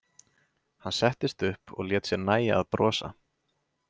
Hann settist upp og lét sér nægja að brosa.